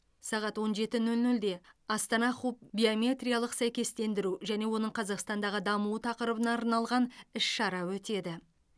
сағат он жеті нөл нөлде астана хуб биометриялық сәйкестендіру және оның қазақстандағы дамуы тақырыбына арналған іс шара өтеді